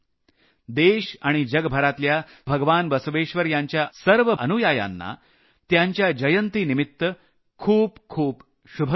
देश आणि जगभरातल्या सर्व भगवान बसवेश्वर यांच्या अनुयायांना त्यांच्या जयंतीनिमित्त खूप खूप शुभकामना